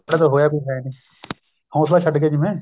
ਕਦੇ ਹੋਇਆ ਵੀ ਹੈਨੀ ਹੋਸਲਾ ਛੱਡ ਗਏ ਜਿਵੇਂ